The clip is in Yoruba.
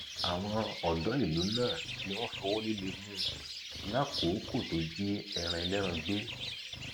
àwọn odò ìlú náà ni wọn fọwọ líle mú un lákòókò tó jí ẹran ẹlẹran gbé